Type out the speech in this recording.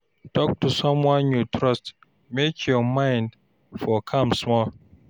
Talk to someone you trust make your mind for calm small.